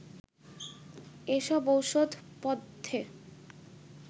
এসব ওষুধপথ্যে